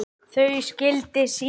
Þau skildi síðar.